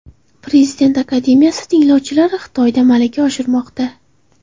Prezident akademiyasi tinglovchilari Xitoyda malaka oshirmoqda.